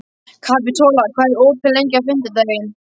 Kapitola, hvað er opið lengi á fimmtudaginn?